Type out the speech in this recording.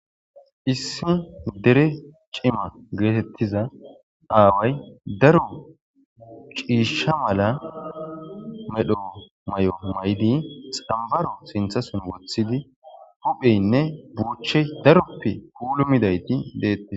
issi dere cima geetettiza aaway daro ciisha mala medho mayo maydi xambaro sinthasin woththidi hupheynne buuchey daroppe pulumidayti deettes